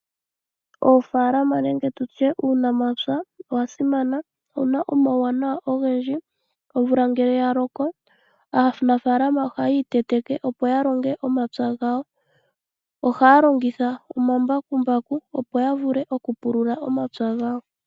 Oofalama nenge tutye uunampya wasimana owuna omauwanawa ogendji. Omvula ngele yaloko aanafalama ohayi iteteke opo yalonge omapya gawo . Ohaya longitha ombakumbaku opo yavule oku pulula omapya gawo.